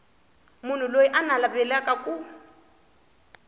munhu loyi a navelaka ku